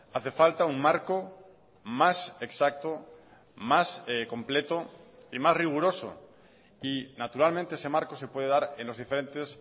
hace falta un marco más exacto más completo y más riguroso y naturalmente ese marco se puede dar en los diferentes